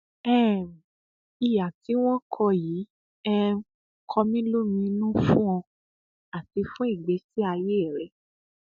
um ìhà tí wọn kọ yìí um kọ mí lóminú fún ọ àti fún ìgbésí ayé rẹ